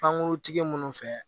Pankuruntigi munnu fɛ